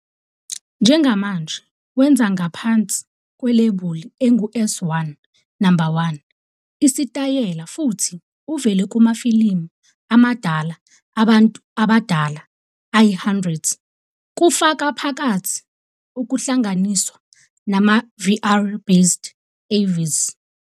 Njengamanje wenza ngaphansi kwelebuli engu-S1 No. 1 isitayela futhi uvele kumafilimu amadala abantu abadala ayi-100, kufaka phakathi ukuhlanganiswa nama-VR-based AV's.